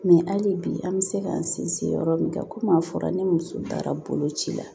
Mɛ hali bi an bɛ se k'an sinsin yɔrɔ min kan komi a fɔra ni muso baara boloci la